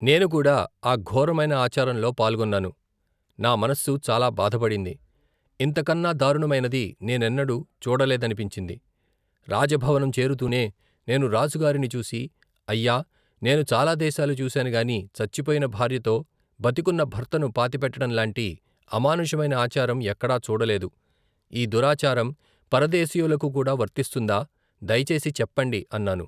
నేనుకూడా ఆ ఘోరమైన ఆచారంలో పాల్గొన్నాను నా మనస్సు చాలా బాధ పడింది ఇంతకన్నా దారుణమైనది నేనెన్నడు చూడలేదనిపించింది రాజభవనం చేరుతూనే నేను రాజుగారిని చూసి అయ్యా నేను చాలా దేశాలు చూశాను గాని చచ్చిపోయిన భార్యతో బతికున్న భర్తను పాతిపెట్టటంలాంటి అమానుషమైన ఆచారం ఎక్కడా చూడలేదు ఈ దురాచారం పరదేశీయులకుకూడా వర్తిస్తుందా దయచేసి చెప్పండి అన్నాను.